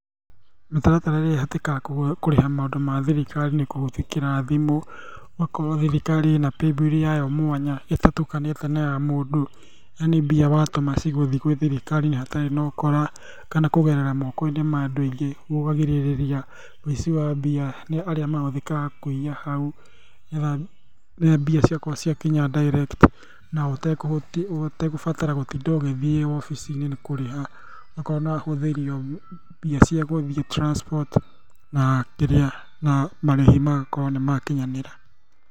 Mĩtaratara ĩrĩa ĩhũthĩkaga kũrĩha maũndũ ma thirikari nĩ kũhĩtũkĩra thimũ, ũgakorwo thirikari ĩna paybill yayo mwanya ĩtatukanĩte na ya mũndũ, yani mbia watũma cigũthiĩ gwĩthirirari-inĩ hatarĩ na ũkora kana kũgerera moko-inĩ ma andũ aingĩ, ũguo ũkagirĩrĩria ũici wa mbia nĩ arĩa mahũthĩkaga kũiya hau, nĩgetha rĩrĩa mbia ciakwa ciakinya direct na ũtegũbatara gũtinda ũgĩthiĩ wabici-inĩ nĩkũrĩha, ũgakorwo nĩwahũthĩrio mbia ciagũthiĩ transport na kĩrĩa, na marĩhi magakorwo nĩmakinyanĩra.